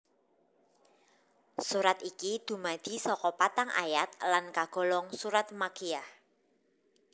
Surat iki dumadi saka patang ayat lan kagolong surat Makkiyah